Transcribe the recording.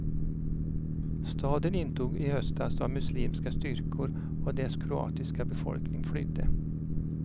Staden intogs i höstas av muslimska styrkor och dess kroatiska befolkning flydde.